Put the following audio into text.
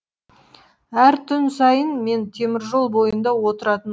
әр түн сайын мен теміржол бойында отыратын